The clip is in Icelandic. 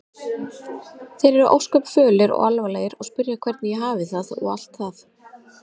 Þeir eru ósköp fölir og alvarlegir og spyrja hvernig ég hafi það og allt það.